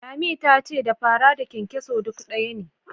Lami ta ce da fara da kyankyaso duk ɗaya ne.